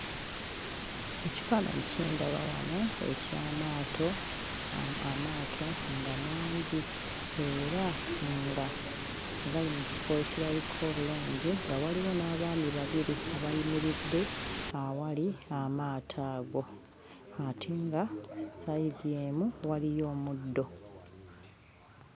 Ekifaananyi kye ndaba wano eky'amaato, amaato nga mangi era nga gali mu kifo ekirabika obulungi nga waliwo n'abaami babiri abayimiridde awali amaato ago ate nga sayidi emu waliyo omuddo.